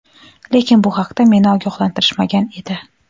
Lekin, bu haqda meni ogohlantirishmagan edi..